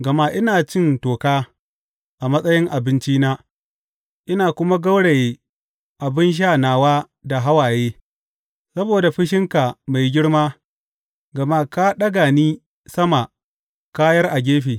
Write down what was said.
Gama ina cin toka a matsayin abincina ina kuma gauraye abin sha nawa da hawaye saboda fushinka mai girma, gama ka ɗaga ni sama ka yar a gefe.